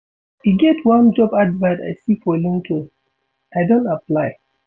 E get one job advert I see for LinkedIn, I don apply.